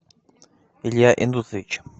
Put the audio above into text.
илья индусович